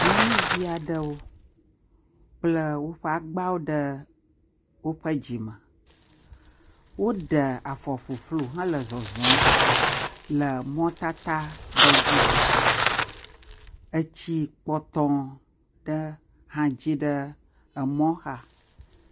Nyɔnuvi aɖewo kple woƒe agbawo ɖe woƒe dzi me. Woɖe afɔ ƒuƒlu hele zɔzɔm le mɔtata aɖe dzi. Etsi kpɔtɔ aɖe hã dzi ɖe emɔ xa.